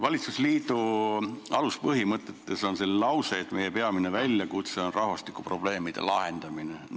Valitsusliidu aluspõhimõtetes on lause, et meie peamine väljakutse on rahvastikuprobleemide lahendamine.